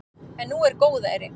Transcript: En nú er góðæri.